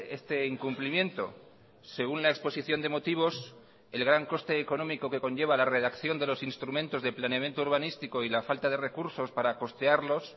este incumplimiento según la exposición de motivos el gran coste económico que conlleva la redacción de los instrumentos de planeamiento urbanístico y la falta de recursos para costearlos